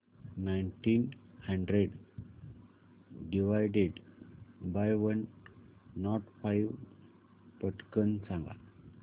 nineteen hundred divided by one nought five पटकन सांग